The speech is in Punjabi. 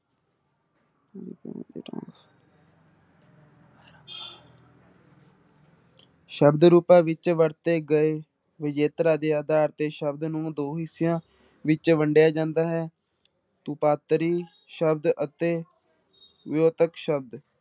ਸ਼ਬਦ ਰੂਪਾਂ ਵਿੱਚ ਵਰਤੇ ਗਏ ਵਿਜੇਤਰ ਆਦਿ ਆਧਾਰ ਤੇ ਸ਼ਬਦ ਨੂੰ ਦੋ ਹਿੱਸਿਆਂ ਵਿੱਚ ਵੰਡਿਆ ਜਾਂਦਾ ਹੈ, ਰੂਪਾਂਤਰੀ ਸ਼ਬਦ ਅਤੇ ਵਿਊਪਤ ਸ਼ਬਦ।